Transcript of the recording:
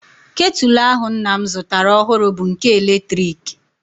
Ketụl ahụ nna m zụtara ọhụrụ bụ nke eletrik